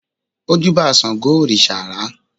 ó júbà sángo òrìṣà àrá